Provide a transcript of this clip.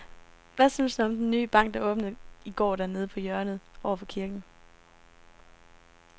Hvad synes du om den nye bank, der åbnede i går dernede på hjørnet over for kirken?